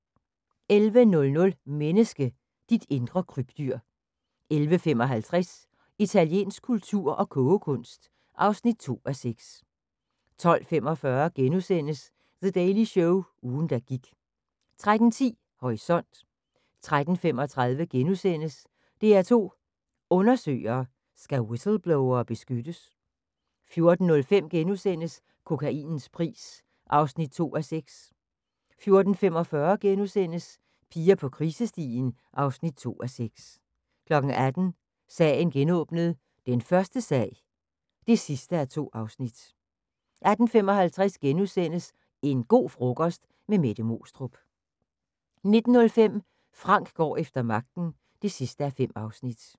11:00: Menneske – dit indre krybdyr 11:55: Italiensk kultur og kogekunst (2:6) 12:45: The Daily Show – ugen der gik * 13:10: Horisont 13:35: DR2 Undersøger: Skal whistleblowere beskyttes? * 14:05: Kokainens pris (2:6)* 14:45: Piger på krisestien (2:6)* 18:00: Sagen genåbnet: Den første sag (2:2) 18:55: En go' frokost - med Mette Moestrup * 19:05: Frank går efter magten (5:5)